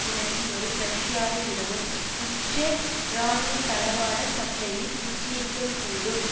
விளங்கிவரும் ரஷ்யாவை விடவும் இஸ்ரேல் இராணுவத்தளவாட சப்ளையில் மிஞ்சியிருக்கக்கூடும்